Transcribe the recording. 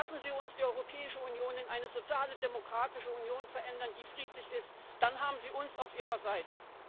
ändern. Lassen Sie uns die Europäische Union in eine soziale, demokratische Union ändern, die friedlich ist, dann haben Sie uns auf Ihrer Seite.